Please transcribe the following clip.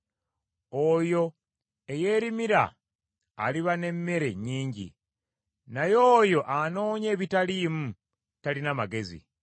Oyo eyeerimira aliba n’emmere nnyingi, naye oyo anoonya ebitaliimu talina magezi.